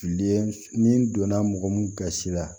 Ye ni n donna mɔgɔ mun gasi la